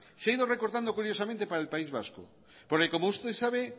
se ha ido recortando curiosamente para el país vasco porque como usted sabe